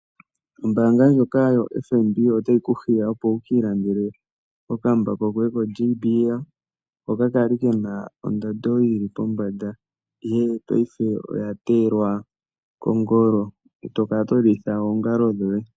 Ombaanga ndjoka yoFNB otayi ku hiya opo wuki ilandele okambako koye koaJBL, hoka kali kena ondando yili pombanda ihe paife oya teyelwa kongolo, e tokala to lilitha oongalo dhoye.